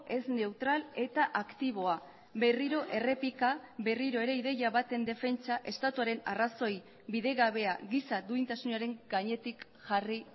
ez neutral eta aktiboa berriro errepika berriro ere ideia baten defentsa estatuaren arrazoi bidegabea giza duintasunaren gainetik jarri